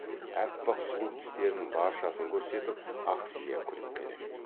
аппақ сұлу тістерінің баршасын көрсетіп ақсия күліп келеді